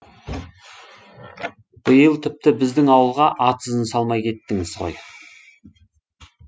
биыл тіпті біздің ауылға ат ізін салмай кеттіңіз ғой